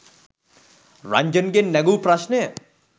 රන්ජන්ගෙන් නැගූ ප්‍රශ්නය